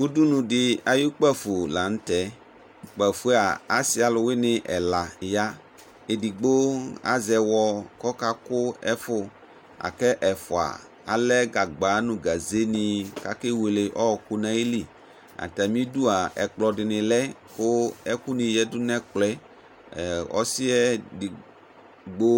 Udunu di ayu kpafo la nʋ tɛ Kpafo yɛ a, asi alʋwini ɛla ya Ɛdigbo azɛ ɛwɔ kɔkakʋ ɛfʋ, la kʋ ɛfua alɛ gagba nʋ gaze ni kakewele ɔɔkʋ nayili Atami idu a, ɛkplɔ di ni lɛ kʋ ɛkʋ ni yadu nɛkplɔ yɛ Ɔsi yɛ edigbo